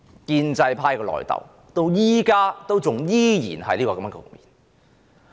建制派的內訌局面至今依然存在。